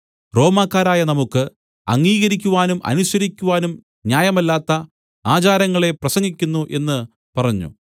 റോമാക്കാരായ നമുക്ക് അംഗീകരിക്കുവാനും അനുസരിക്കുവാനും ന്യായമല്ലാത്ത ആചാരങ്ങളെ പ്രസംഗിക്കുന്നു എന്നു പറഞ്ഞു